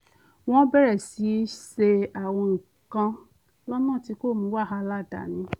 wọ́n bẹ̀rẹ̀ sí í ṣe àwọn nǹkan lọ́nà tí kò mú wàhálà dání